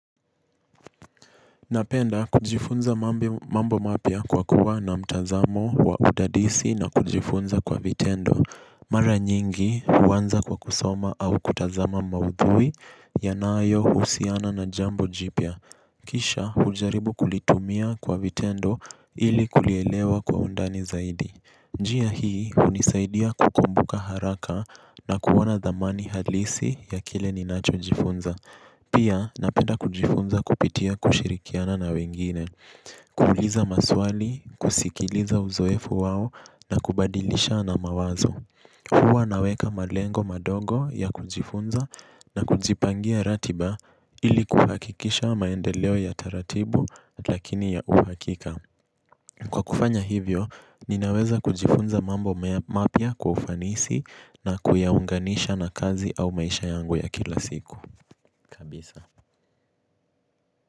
Napenda kujifunza mambo mapya kwa kuwa na mtazamo wa udadisi na kujifunza kwa vitendo. Mara nyingi huanza kwa kusoma au kutazama maudhui yanayohusiana na jambo jipya. Kisha ujaribu kulitumia kwa vitendo ili kulielewa kwa undani zaidi. Njia hii hunisaidia kukumbuka haraka na kuona thamani halisi ya kile ninachojifunza. Pia napenda kujifunza kupitia kushirikiana na wengine, kuuliza maswali, kusikiliza uzoefu wao na kubadilishana mawazo. Huwa naweka malengo madogo ya kujifunza na kujipangia ratiba ili kuhakikisha maendeleo ya taratibu lakini ya uhakika. Kwa kufanya hivyo, ninaweza kujifunza mambo mapya kwa ufanisi na kuyaunganisha na kazi au maisha yangu ya kila siku. Kabisa.